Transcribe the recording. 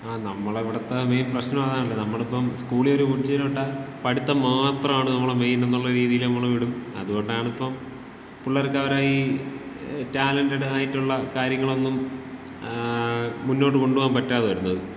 ആ നമ്മള ഇവിടത്ത മെയിൻ പ്രശ്നം അതാണല്ല്. നമ്മളിപ്പം സ്കൂളിലൊരു കൊച്ചിനെ വിട്ടാ പഠിത്തം മാത്രമാണ് നമ്മുടെ മെയിനെന്നുള്ള രീതിയില് നമ്മള് വിടും. അതുകൊണ്ടാണിപ്പം പുള്ളാരക്ക് അവര ഈ ടാലൻറ്ഡ് ആയിട്ടുള്ള കാര്യങ്ങളൊന്നും മുന്നോട്ടു കൊണ്ടുപോകാൻ പറ്റാതെ വരുന്നത്.